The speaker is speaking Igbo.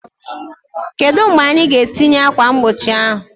Kedu mgbe anyị ga-etinye ákwà mgbochi ahụ?